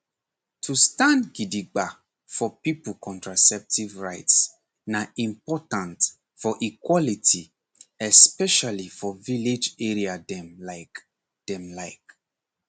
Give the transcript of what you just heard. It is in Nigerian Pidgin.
to stand gidigba for people contraceptive rights na important for equality especially for village area dem like dem like